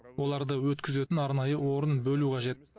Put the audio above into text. оларды өткізетін арнайы орын бөлу қажет